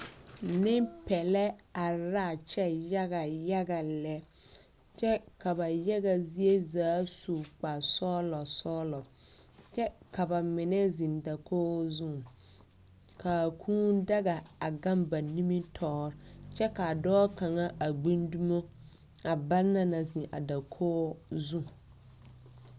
Nempeԑlԑ are laa kyԑ yaga yaga lԑ, kyԑ ka ba yaga zie zaa su kpare-sͻͻlͻ sͻͻlͻ, kyԑ ka ba mine zeŋ dakoo zu kaa kũũ daga gaŋ ba nimibitͻͻreŋ kyԑ ka dͻͻ kaŋa a gbi dumo a banna naŋ zeŋ a ba dakoo zu.